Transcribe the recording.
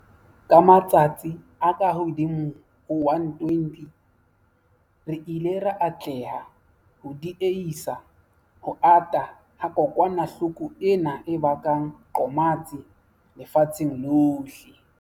Ka matsatsi a kahodimo ho 120, re ile ra atleha ho die-hisa ho ata ha kokwanahloko ena e bakang qomatsi lefatsheng lohle.